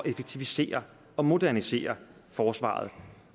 effektivisere og modernisere forsvaret